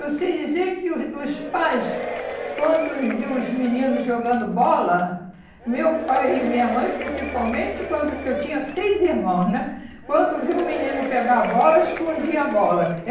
Eu sei dizer que o os pais, quando viu os meninos jogando bola, meu pai e minha mãe, principalmente, quando porque eu tinha seis irmãos né, quando viu o menino pegar a bola, escondia a bola.